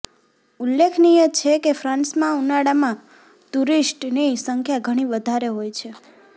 ઉલ્લેખનીય છે કે ફ્રાન્સમાં ઉનાળામાં ટૂરિસ્ટની સંખ્યા ઘણી વધારે હોય છે